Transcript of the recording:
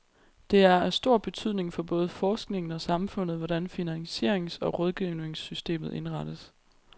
Det er af stor betydning for både forskningen og samfundet, hvordan finansierings- og rådgivningssystemet indrettes.